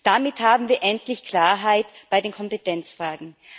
Damit haben wir endlich Klarheit bei den Kompetenzfragen.